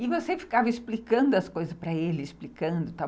E você ficava explicando as coisas para ele, explicando e tal.